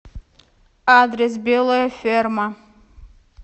адрес белая ферма